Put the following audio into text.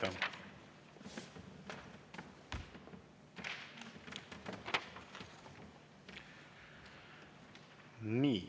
Aitäh!